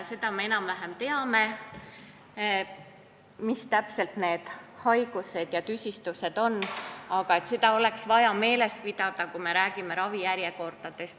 Me enam-vähem teame, mis täpselt on need haigused ja tüsistused, aga seda oleks vaja meeles pidada, kui me räägime ravijärjekordadest.